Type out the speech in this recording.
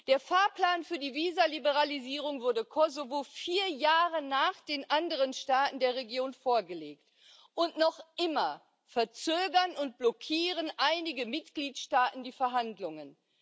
Der Fahrplan für die Visaliberalisierung wurde Kosovo vier Jahre nach den anderen Staaten der Region vorgelegt, und noch immer verzögern und blockieren einige Mitgliedstaaten die Verhandlungen.